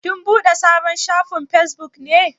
Kin buɗe sabon shafin Facebook ne?